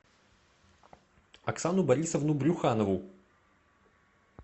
оксану борисовну брюханову